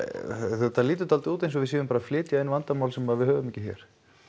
þetta lítur dálítið út eins og við séum bara að flytja inn vandamál sem við höfum ekki hér